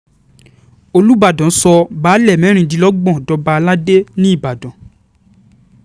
olùbàdàn sọ baálé mẹ́rìnlélọ́gbọ̀n dọ́ba aládé ni ibàdàn